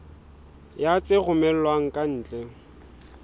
ya tse romellwang ka ntle